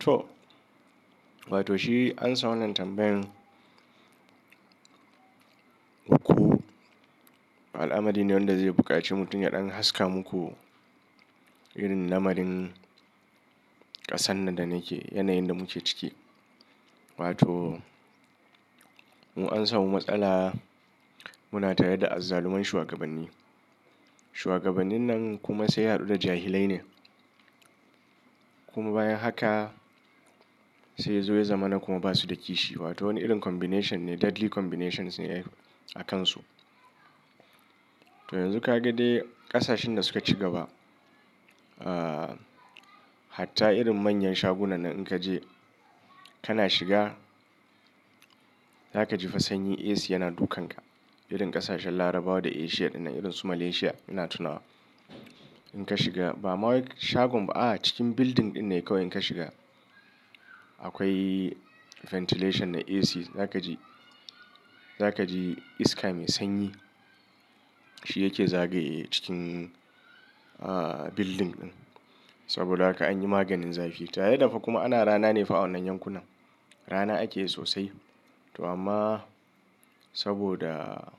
To, wato shi ansam wannan tambayan uku. Al'amari ne wanda zai buƙaci mutum ya ɗan haska muku irin lamarin ƙasan nan da nake, yanayin da muke ciki. Wato mu an samu matsala muna tare da azzaluman shugabanni. Shuwagabannin nan kuma sai ya haɗu da jahilai ne. Kuma bayan haka sai ya zo ya zamana kuma ba su da kishi. Wato wani irin combination ne, deadly combinations ne a kansu. To yanzu kaga dai ƙasashen da suka ci gaba, ahh hatta irin manyan shagunan nan in ka je ka na shiga, zaka ji fa sanyin AC yana dukan ka. Irin ƙasashen Larabawa da Asia ɗin nan irin su Malaysia ina tunawa. In ka shiga ba ma wai shagon ba, a'a, cikin building ɗin ne kawai in ka shiga. Akwai ventilation na AC zaka ji, zaka ji iska mai sanyi. Shi yake zagaye cikin ah building ɗin. Saboda haka an yi maganin zafi. Tare da fa kuma ana rana ne fa a wannan yankunan. Rana ake sosai. To amma saboda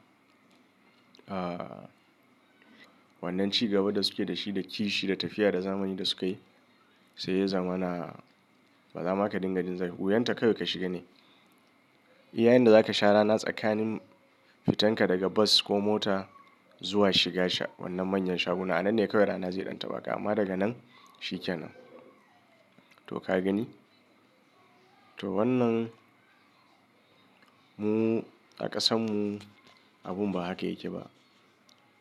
ah wannan ci gaba da suke da shi da kishi da tafiya da zamani da sukayi, sai ya zamana, ba za ma ka dinga jin zafi. Wuyan ta kawai ka shiga ne. Iya yanda zaka sha rana tsakanin fitanka daga bus ko mota zuwa shiga wannan manyan shaguna. A nan ne kawai rana zai ɗan taɓa ka. Amma daga nan shi kenan. To ka gani? To wannan mu a ƙasan mu abun ba haka yake ba.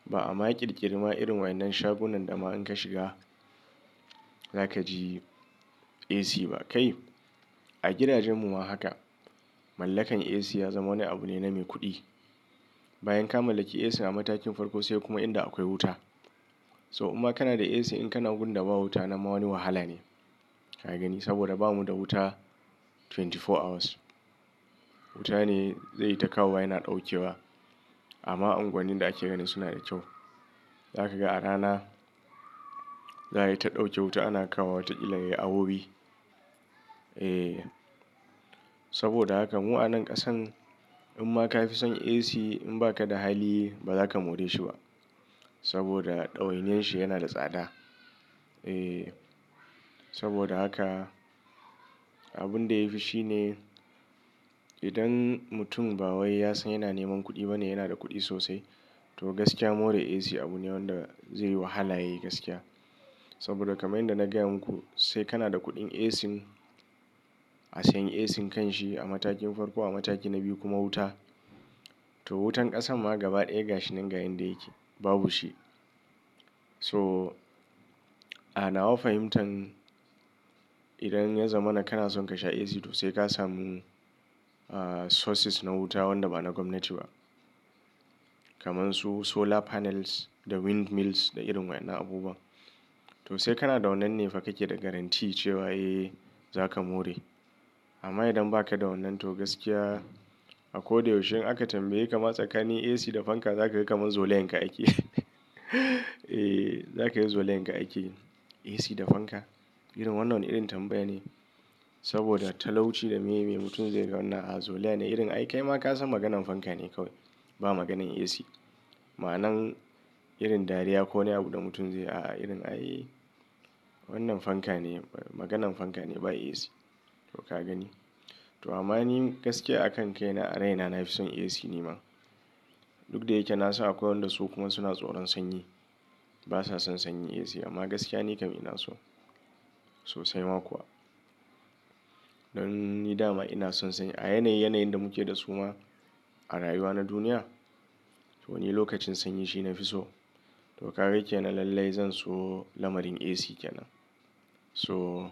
Ba a ma ƙirƙiri ma irin waɗannan shagunan da ma in ka shiga zaka ji AC ba kai. A gidajen mu ma haka. Mallakan AC ya zama wani abu ne na mai kuɗi. Bayan ka mallaki AC a matakin farko sai kuma inda akwai wuta. To in ma kana da AC in kana gunda ba wuta nan ma wani wahala ne. Ka gani? Saboda ba mu da wuta twenty four hours. Wuta ne zai yi ta kawowa yana ɗauke wa. Amma unguwannin da ake ganin suna da kyau. Zaka ga a rana za ayi ta ɗauke wuta ana kawowa wata ƙila ya yi awowi. Eh saboda haka mu a nan ƙasan in ma kafi son AC in ba ka da hali ba zaka more shi ba. Saboda ɗawainiyar shi yana da tsada. Eh saboda haka abun da yafi shine idan mutum ba wai ya san yana neman kuɗi ba ne yana da kuɗi sosai. To gaskiya more AC abu ne wanda zai yi wahala yayi gaskiya. Saboda kamar yanda na gaya muku sai kana da kuɗin AC, a sanya AC kan shi a matakin farko a mataki na biyu kuma wuta. To wutan ƙasan ma gaba ɗaya gashi nan ga inda yake babu shi. To a na wa fahimtan idan ya zamana kana son ka sha AC to sai ka samu ah sources na wuta wanda ba na gwamnati ba. Kaman su solar panels da windmills da irin waɗannan abubuwan. To sai kana da wannan ne fa kake da guarantee cewa eh zaka more. Amma idan ba ka da wannan to gaskiya a koda yaushe in aka tambaye ka ma tsakanin AC da fanka zaka ga kaman zolayanka ake. Eh zaka yi zolayanka ake, AC da fanka. Irin wannan, wana irin tambaya ne. Saboda talauci da miye miye mutum zai ga wannan ah zolaya ne irin ai kai ma ka san maganan fanka ne kawai, ba maganan AC. Ma'anan irin dariya ko wani abu da mutum zai yi, a'a irin ai wannan fanka ne maganan fanka ne ba AC. To ka gani? To amma ni gaskiya a kan kaina a raina nafi son AC ni ma. Duk da yake na san akwai wanda su kuma suna tsoron sanyi. Ba sa son sanyi AC amma gaskiya ni kam ina so, sosai ma kuwa. Dan ni dama ina son sanyi. A yanayi yanayin da muke da su ma a rayuwa na duniya. To ni lokacin sanyi shi nafi so. To kaga kenan lallai zan so lamarin AC kenan. To,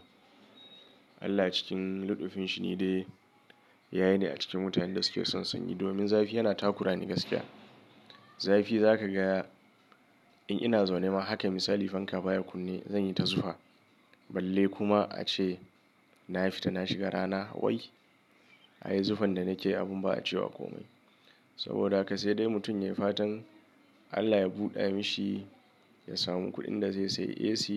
Allah cikin luɗufin shi ni dai yayi ni a cikin mutanen da suke son sanyi domin zafi yana takura ni gaskiya. Zafi zaka ga in ina zaune ma haka misali fanka baya kunne zan yi ta zufa. Balle kuma ace na fita na shiga rana wai ai zufan da nake yi abun ba a cewa komai. Saboda haka sai dai mutum ya yi fatan Allah ya buɗa mishi ya samu kuɗin da zai sai AC.